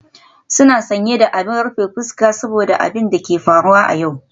Suna sanye da abin rufe fuska saboda abin da ke faruwa a yau.